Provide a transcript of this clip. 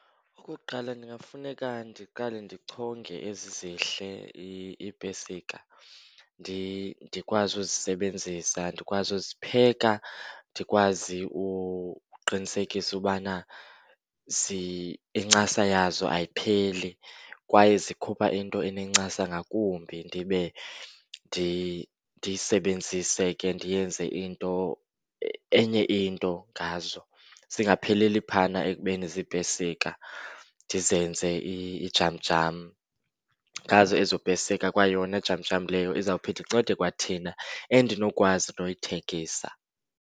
Okokuqala ningafuneka ndiqale ndichonge ezi zihle iipesika. Ndikwazi uzisebenzisa, ndikwazi uzipheka. Ndikwazi uqinisekisa ubana incasa yazo ayipheli kwaye zikhupha into enencasa ngakumbi. Ndibe ndiyindisebenzise ke ndiyenze into, enye into ngazo zingapheleli phaana ekubeni ziipesika. Ndizenze ijamjam ngazo ezo pesika. Kwayona jamjam leyo izawuphinda incede kwathina, endinokwazi noyithengisa.